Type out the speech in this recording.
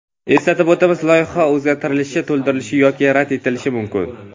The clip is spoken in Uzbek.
Eslatib o‘tamiz, loyiha o‘zgartirilishi, to‘ldirilishi yoki rad etilishi mumkin.